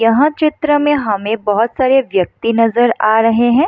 यहाँ चित्र में हमें बहुत सारे व्यक्ति नज़र आ रहे हैं।